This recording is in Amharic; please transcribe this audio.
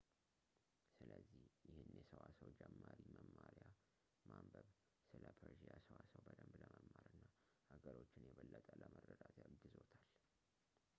ስለዚህ ይህንን የሰዋሰው ጀማሪ መማርያ ማንበብ ስለ ፐርዢያ ሰዋሰው በደንብ ለመማር እና ሀረጎችን የበለጠ ለመረዳት ያግዝዎታል